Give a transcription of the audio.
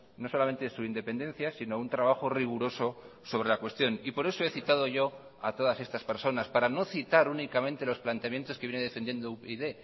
no solamente su independencia sino un trabajo riguroso sobre la cuestión y por eso he citado yo a todas estas personas para no citar únicamente los planteamientos que viene defendiendo upyd